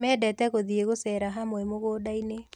Mendete gũthĩi gũcera hamwe mũgundainĩ.